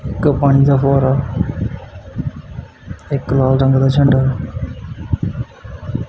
ਇੱਕ ਪਾਣੀ ਦਾ ਫੁਹਾਰਾ ਇੱਕ ਲਾਲ ਰੰਗ ਦਾ ਝੰਡਾ --